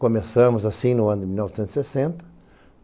Começamos assim, no ano de mil novcentos e sessenta.